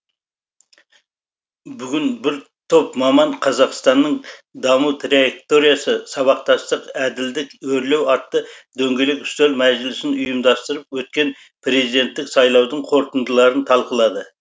бүгін бір топ маман қазақстанның даму траекториясы сабақтастық әділдік өрлеу атты дөңгелек үстел мәжілісін ұйымдастырып өткен президенттік сайлаудың қорытындыларын талқылады